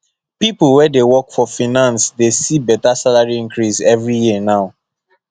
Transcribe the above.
people wey dey work for finance dey see better salary increase every year now